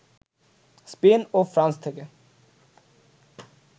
Spain ও France থেকে